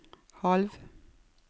halv